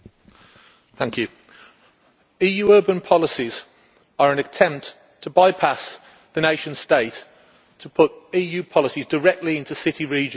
Mr President, EU urban policies are an attempt to bypass the nation state to put EU policies directly into city regions.